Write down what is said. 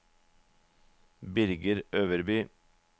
Birger Øverby